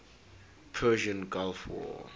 persian gulf war